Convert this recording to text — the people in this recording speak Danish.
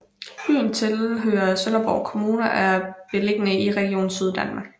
Byen tilhører Sønderborg Kommune og er beliggende i Region Syddanmark